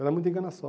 Era muita enganação.